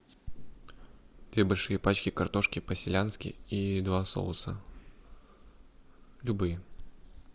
две большие пачки картошки по селянски и два соуса любые